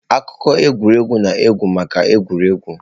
Akụkọ egwuregwu na-ekwu maka egwuregwu.